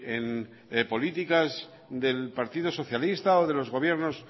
en políticas del partido socialista o de los gobiernos